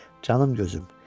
Canım gözüm.